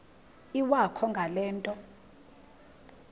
iwakho ngale nto